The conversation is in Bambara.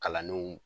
Kalandenw